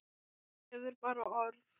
Þú hefur bara orð.